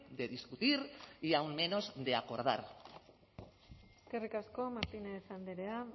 de discutir y aún menos de acordar eskerrik asko martínez andrea